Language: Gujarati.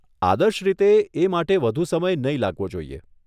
આદર્શ રીતે, એ માટે વધુ સમય નહીં લાગવો જોઈએ.